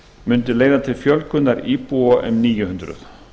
mundi leiða til fjölgunar íbúa um níu hundruð